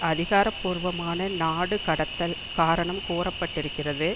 அதிகார பூர்வமான நாடு கடத்தல் காரணம் கூற பட்டிருக்கிறது